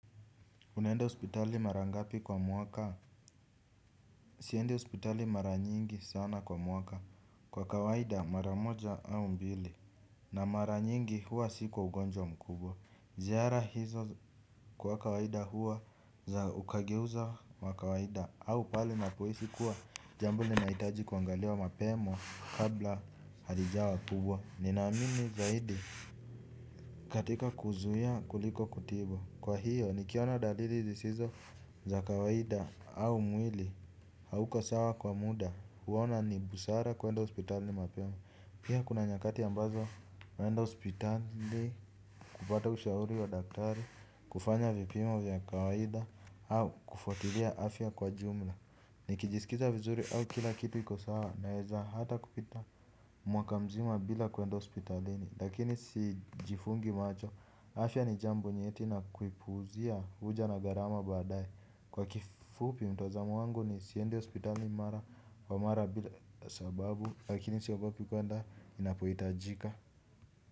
Unaenda hospitali mara ngapi kwa mwaka. Siendi hospitali mara nyingi sana kwa mwaka. Kwa kawaida mara moja au mbili. Na mara nyingi huwa si kwa ugonjwa mkubwa. Ziara hizo kwa kawaida huwa za ukageuza wa kawaida au pale ninapohisi kuwa jambo linahitaji kuangaliwa mapema kabla haijawa kubwa nina amini zaidi. Katika kuzuia kuliko kutibu. Kwa hiyo nikiaona dalili zisizo za kawaida au mwili hauko sawa kwa muda huona ni busara kuenda hospitali mapema. Pia kuna nyakati ambazo naenda hospitali. Kupata ushauri wa daktari. Kufanya vipimo vya kawaida. Au kufuatilia afya kwa jumla. Nikijiskiza vizuri au kila kitu iko sawa. Naweza hata kupita mwaka mzima bila kuenda hospitalini lakini sijifungi macho. Afya ni jambo nyeti na kuipuzia huja na gharama baadaye. Kwa kifupi mtazamo wangu nisiende hospitali mara kwa mara bila sababu lakini siogopi kwenda ninapohitajika.